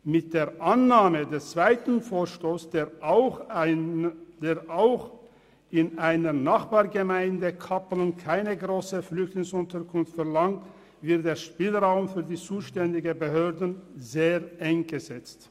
Mit der Annahme des zweiten Vorstosses, der auch in der Nachbargemeinde Kappelen keine grosse Flüchtlingsunterkunft verlangt, wird der Spielraum für die zuständigen Behörden sehr eng gesetzt.